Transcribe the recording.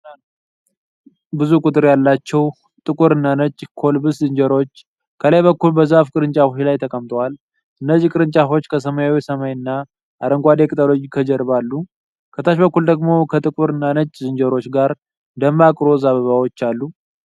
ብዙ ቁጥር ያላቸው ጥቁር እና ነጭ ኮልበስ ዝንጀሮዎች ከላይ በኩል በዛፍ ቅርንጫፎች ላይ ተቀምጠዋል። እነዚህ ቅርንጫፎች ከሰማያዊ ሰማይ እና አረንጓዴ ቅጠሎች ከጀርባ አሉ። ከታች በኩል ደግሞ ከጥቁር እና ነጭ ዝንጀሮዎች ጋር ደማቅ ሮዝ አበባዎች አሉ።